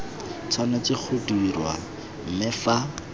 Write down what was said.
tshwanetse go dirwa mme fa